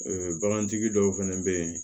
Ee bagantigi dɔw fɛnɛ bɛ yen